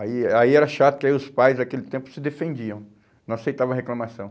Aí aí era chato, porque os pais naquele tempo se defendiam, não aceitavam reclamação.